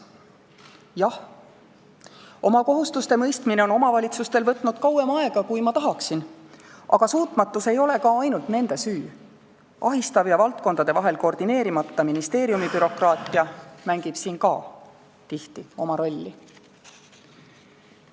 Jah, oma kohustuste mõistmine on omavalitsustel võtnud kauem aega, kui ma tahaksin, aga suutmatus ei ole ka ainult nende süü – ahistav ja valdkondade vahel koordineerimata ministeeriumibürokraatia mängib siin ka tihti oma rolli.